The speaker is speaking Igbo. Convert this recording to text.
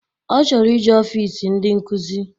Ọ chọrọ ije ọfịs ndị nkuzi